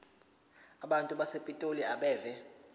abantu basepitoli abeve